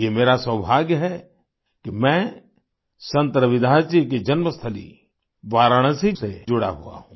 ये मेरा सौभाग्य है कि मैं संत रविदास जी की जन्मस्थली वाराणसी से जुड़ा हुआ हूँ